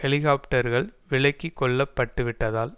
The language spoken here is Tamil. ஹெலிக்காப்டர்கள் விலக்கிக்கொள்ளப் பட்டுவிட்டதால்